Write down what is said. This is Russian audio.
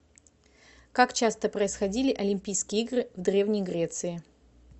как часто происходили олимпийские игры в древней греции